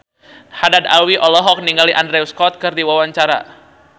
Haddad Alwi olohok ningali Andrew Scott keur diwawancara